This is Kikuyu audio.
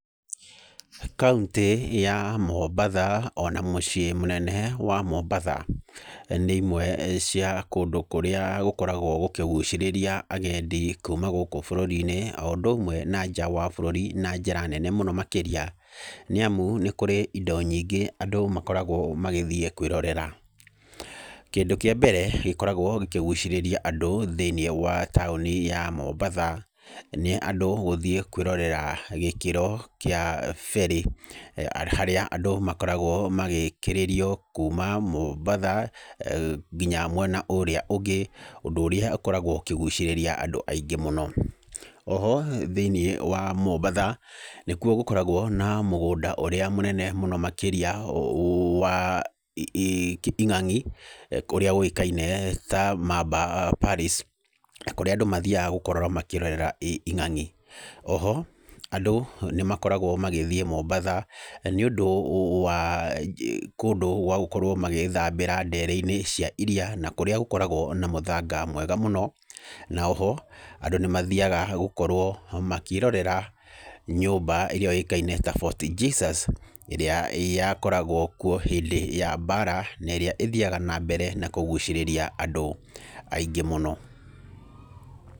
Kauntĩ ya Mombatha, ona mũciĩ mũnene wa Mombatha nĩ imwe cia kũndũ kũrĩa gũkoragwo gũkĩgũcĩrĩria agendi kuma gũkũ bũrũri-inĩ, o ũndũ ũmwe na nja wa bũrũri na njĩra nene mũno makĩria. Nĩ amu, nĩ kũrĩ indo nyingĩ andũ makoragwo magĩthiĩ kwĩrorera. Kĩndũ kĩa mbere gĩkoragwo gĩkĩgucĩrĩria andũ thĩiniĩ wa taũni ya Mombatha nĩ andũ gũthiĩ kwĩrorera gĩkĩro kĩa ferry. Harĩa andũ makoragwo magĩkĩrĩrio kuuma Mombatha nginya mwena ũrĩa ũngi, ũndũ ũrĩa ũkoragwo ũkĩgucĩrĩria andũ mũno. O ho thĩiniĩ wa Mombatha nĩkuo gũkoragwo na mũgũnda ũrĩa mũnene mũno makĩria wa ing'ang'i ũrĩa ũĩkaine ta Mamba Palace, kũríĩ andũ mathiaga gũkorwo makĩrorera ing'ang'i . O ho andũ nĩ makoragwo magĩthiĩ Mombatha nĩ ũndũ wa kũndũ gwa gũkorwo magĩgĩthaambĩra ndere-inĩ cia iria na kũrĩa gũgĩkoragwo na mũthanga mwega mũno. Na o ho andũ nĩ mathiaga gũkorwo makĩĩrorera nyũmba ĩrĩa yũĩkaine ta Fort Jesus, ĩria yakoragwo kuo hĩndĩ ya mbara na ĩrĩa ĩthiaga na mbere na kũgucĩrĩria andũ aingĩ mũno.